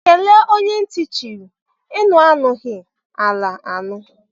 kele onye nti chiri; enu anughi, ala anu.